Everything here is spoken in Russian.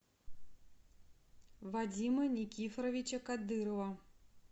вадима никифоровича кадырова